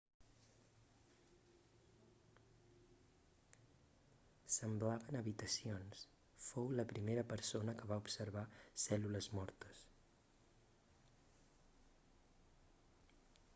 semblaven habitacions fou la primera persona que va observar cèl·lules mortes